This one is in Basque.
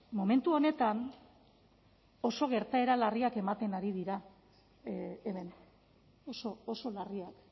momentu honetan oso gertaera larriak ematen ari dira hemen oso oso larriak